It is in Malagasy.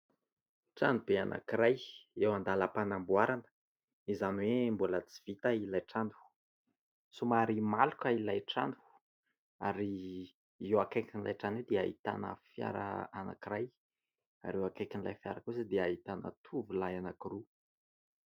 Trano be anankiray eo an-dàlam-panamboarana izany hoe mbola tsy vita ilay trano. Somary maloka ilay trano ary eo akaikin'io trano io dia ahitana fiara anankiray ary eo akaikin'ilay fiara kosa dia ahitana tovolahy anankiroa.